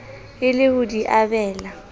e le ho di abela